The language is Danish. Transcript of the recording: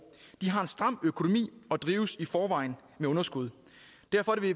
de har en stram økonomi og drives i forvejen med underskud derfor